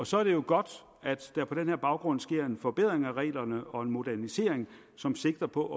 så er det jo godt at der på den her baggrund sker en forbedring af reglerne og en modernisering som sigter på